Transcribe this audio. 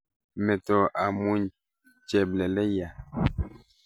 Meto amuny chepleeleyaat